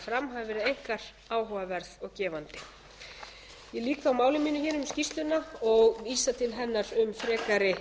fram hafi verið einkar áhugaverð og gefandi ég lýk þá máli mínu hér um skýrsluna og vísa til hennar um